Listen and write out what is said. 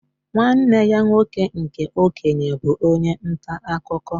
Nwanne ya nwoke nke okenye bụ onye ntà akụkọ.